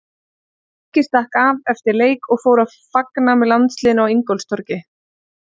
Siggi stakk af eftir leik og fór að fagna með landsliðinu á Ingólfstorgi.